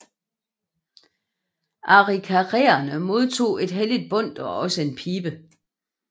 Arikaraerne modtog et helligt bundt og også en pibe